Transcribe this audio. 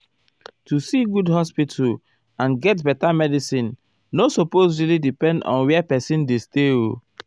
---- to see good hospital and get beta medicine nor supose really depend on where person dey stay o.